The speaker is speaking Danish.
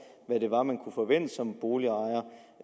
hvad det var man som boligejer